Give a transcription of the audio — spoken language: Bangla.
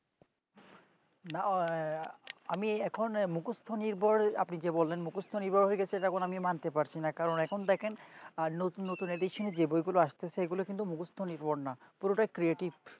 নাও আহ আমি এখন মুকস্ত নির্ভর আমি যে বলেন যে বলেন মুকস্ত নির্ভর হয়ে যাচ্ছে দেখুন আমি মানতে পারছি না কারণ এখন দেখেন নতুন Edison যে বই গুলো আছে সে গুলো কিন্তু মুকস্ত নির্ভর না পুরোটাই creative